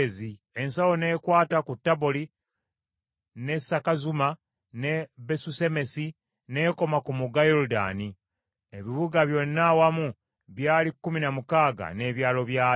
Ensalo n’ekwata ku Taboli ne Sakazuma ne Besusemesi n’ekoma ku mugga Yoludaani. Ebibuga byonna awamu byali kkumi na mukaaga n’ebyalo byabyo.